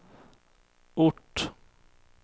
ort